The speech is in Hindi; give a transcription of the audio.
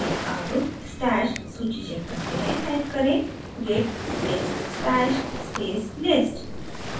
अब stash सूची check करते हैं टाइप करें git space stash space list